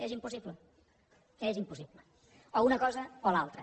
és impossible és impossible o una cosa o l’altra